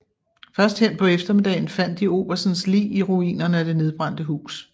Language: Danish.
Først hen på eftermiddagen fandt de oberstens lig i ruinerne af det nedbrændte hus